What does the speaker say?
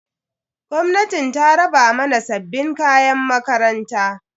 Gwamnatin ta raba mana sabbin kayan makaranta.